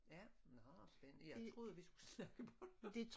Ja nåh spændende jeg troede vi skulle snakke bornholmsk